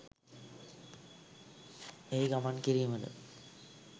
එහි ගමන් කිරීමට